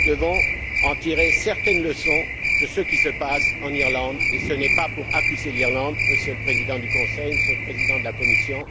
Nous devons tirer certaines leçons de ce qui se passe en Irlande, et ce n'est pas pour accuser l'Irlande, Monsieur le Président du Conseil, Monsieur le Président de la Commission.